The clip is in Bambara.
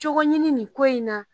Cogo ɲini nin ko in na